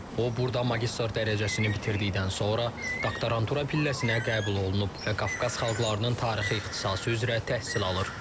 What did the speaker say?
O burda magistr dərəcəsini bitirdikdən sonra doktorantura pilləsinə qəbul olunub və Qafqaz xalqlarının tarixi ixtisası üzrə təhsil alır.